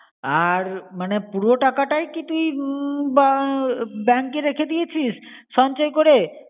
আর মনে পুরো টাকা টাই কী তুই উম bank এ রেখে দিয়েছিস সঞ্চয় করে?